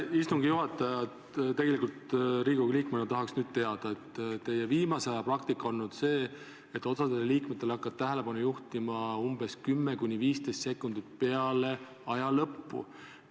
Istungi juhataja, Riigikogu liikmena ma tahaks nüüd märkida, et teie viimase aja praktika on olnud see, et osa liikmete puhul te hakkate sellele tähelepanu juhtima 10–15 sekundit peale aja lõppu.